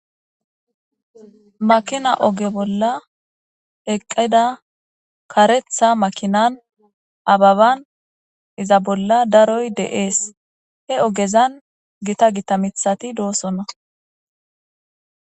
Makina oge bolla eqqida kareththa makinan ababan iza bolla daroy de'es. He ogezan gita gita miththati doosona.